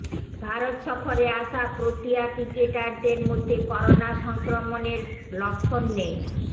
ভারত সফরে আসা প্রোটিয়া ক্রিকেটাদের মধ্যে করোনা সংক্রমণের লক্ষণ নেই